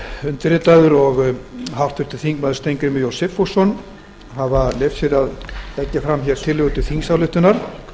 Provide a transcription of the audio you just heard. undirritaður og háttvirtur þingmaður steingrímur j sigfússon hafa leyft sér að leggja fram hér tillögu til þingsályktunar